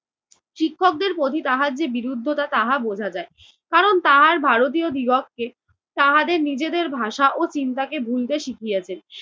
শিক্ষকদের প্রতি তাহার যে বিরুদ্ধতা তাহা বোঝা যায়, কারণ তাহার ভারতীয়দিগককে তাহাদের নিজেদের ভাষা ও চিন্তাকে বুনতে শিখিয়েছেন।